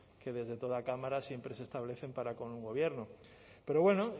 que desde toda cámara siempre se establecen para con un gobierno pero bueno